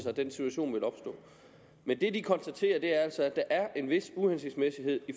at den situation ville opstå men det de konstaterer er altså at der er en vis uhensigtsmæssighed i